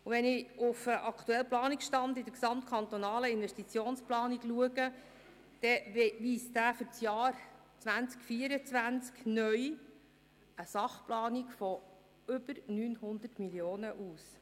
Wenn ich mir den aktuellen Planungsstand in der gesamtkantonalen Investitionsplanung anschaue, sehe ich, dass er für das Jahr 2024 neu eine Sachplanung von über 900 Mio. Franken ausweist.